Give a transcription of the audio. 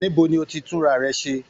Níbo ní o tí tunrarẹ̀ ṣe?